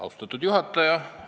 Austatud juhataja!